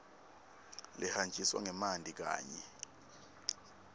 lehanjiswa ngemanti kanye